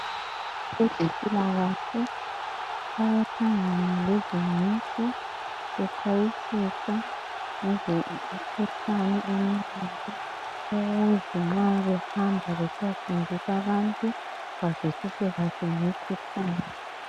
abezimpilakahle bayahlangana lezinceku bexwayisisa ngemikhuhlane eminengi ukuze nxa behamba besiyafundisa abantu bazwisise kahle